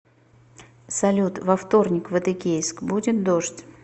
салют во вторник в адыгейск будет дождь